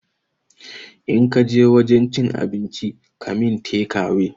In kaje wajen cin abincin ka min tekawe